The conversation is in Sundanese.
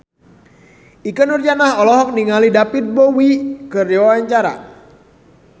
Ikke Nurjanah olohok ningali David Bowie keur diwawancara